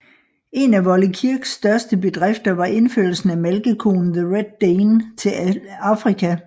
En af Wolle Kirks største bedrifter var indførelsen af malkekoen The Red Dane til Afrika